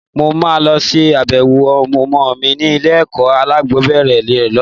Mo máa lọ ṣe abẹ̀wò ọmọ mi ní ilé-ẹ̀kọ́ alákọ̀ọ́bẹ̀rẹ̀ rẹ lọ́la.